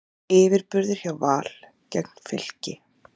Yfirburðir hjá Val gegn Fylki